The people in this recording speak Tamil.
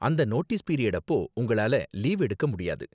அந்த நோட்டீஸ் பீரியட் அப்போ, உங்களால லீவு எடுக்க முடியாது.